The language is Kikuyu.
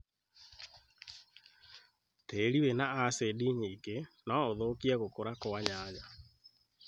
tĩĩri wĩna acindi nyingĩ no ũthũkie gũkũra kũa nyanya